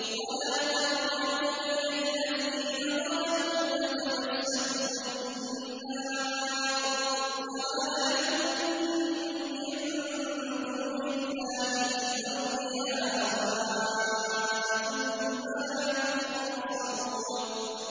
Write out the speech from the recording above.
وَلَا تَرْكَنُوا إِلَى الَّذِينَ ظَلَمُوا فَتَمَسَّكُمُ النَّارُ وَمَا لَكُم مِّن دُونِ اللَّهِ مِنْ أَوْلِيَاءَ ثُمَّ لَا تُنصَرُونَ